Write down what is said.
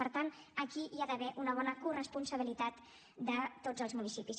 per tant aquí hi ha d’haver una bona corresponsabilitat de tots els municipis